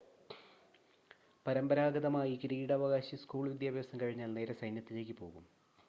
പരമ്പരാഗതമായി കിരീടാവകാശി സ്കൂൾ വിദ്യാഭ്യാസം കഴിഞ്ഞാൽ നേരെ സൈന്യത്തിലേക്ക് പോകും